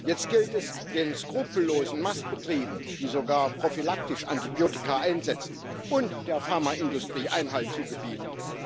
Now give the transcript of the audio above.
Jetzt gilt es, den skrupellosen Mastbetrieben, die sogar prophylaktisch Antibiotika einsetzen, und der Pharmaindustrie Einhalt zu gebieten.